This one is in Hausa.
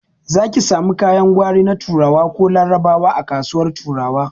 Zaki samu kayan gwari na turawa ko larabawa a kasuwar turawa